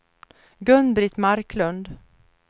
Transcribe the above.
Gun-Britt Marklund